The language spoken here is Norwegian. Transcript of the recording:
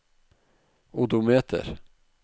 odometer